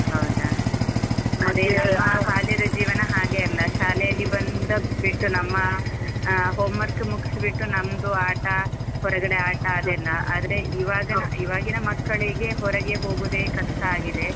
ಹೌದಾ. ಬಾಲ್ಯದ ಜೀವನ ಹಾಗೆ ಅಲ್ಲ, ಶಾಲೆ ಅಲ್ಲಿ ಬಂದ ಬಿಟ್ಟು ನಮ್ಮ homework ಮುಗುಸ್ ಬಿಟ್ಟು ನಮ್ದು ಆಟ ಹೊರಗಡೆ ಆಟ ಅದೆಲ್ಲ ಆದ್ರೆ ಇವಾಗ ಇವಾಗಿನ ಮಕ್ಕಳಿಗೆ ಹೊರಗೆ ಹೋಗೋದೇ ಕಷ್ಟ ಆಗಿದೆ.